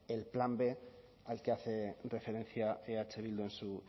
el plan b al que hace referencia eh bildu en su